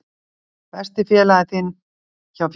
Besti félagi þinn hjá félaginu?